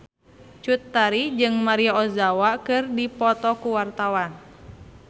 Cut Tari jeung Maria Ozawa keur dipoto ku wartawan